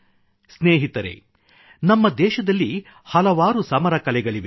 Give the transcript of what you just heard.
ಸ್ನೇಹಿತರೇ ನಮ್ಮ ದೇಶದಲ್ಲಿ ಹಲವಾರು ಸಮರ ಕಲೆಗಳಿವೆ